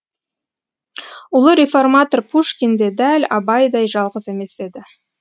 ұлы реформатор пушкин де дәл абайдай жалғыз емес еді